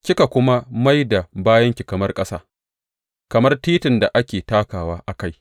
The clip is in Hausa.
Kika kuma mai da bayanki kamar ƙasa, kamar titin da ake takawa a kai.